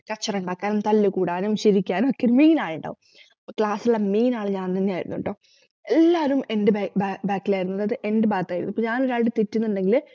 കചറുണ്ടാക്കാനും തല്ലുകൂടാനും ചിരിക്കാനും ഒക്കെ main ആളിണ്ടാവും അപ്പോ class ലെ main ആൾ ഞാന്തന്നെയായിരുന്നുട്ടോ എല്ലാരും എന്റെ ബ ബാ back ലായിരുന്നു ഇപ്പൊ എന്റെ ഭാഗത്തായിരുന്നു ഞാൻറൊരാളോട് തെറ്റിന്നുണ്ടെങ്കിൽ